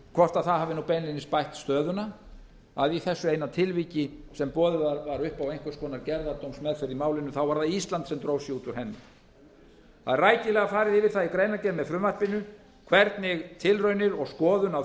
hvort það hafi beinlínis bætt stöðuna að í þessu eina tilviki sem boðið var upp á einhvers konar gerðardómsmeðferð í málinu þá var það ísland sem dró sig út úr henni það er rækilega farið yfir það í greinargerð með frumvarpinu hvernig tilraunir og skoðun á